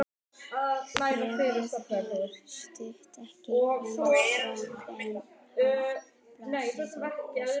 Bréfið var stutt, ekki lengra en hálf blaðsíða.